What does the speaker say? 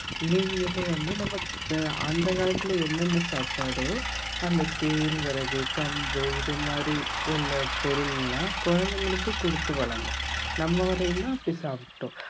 நீங்களும் வந்து நம்ம அந்த காலத்துல என்னென்ன சாப்பாடோ அந்த கேழ்வரகு கம்பு இது மாதிரி உள்ள பொருள்லாம் குழந்தைகளுக்கு கொடுத்து வளங்க நம்ம வரையிலும்தான் அப்படி சாப்பிட்டோம்